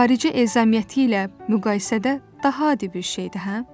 xarici əzəməti ilə müqayisədə daha adi bir şeydir, hə?